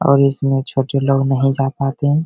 और इसमें छोटे लोग नहीं जा पाते हैं।